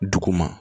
Duguma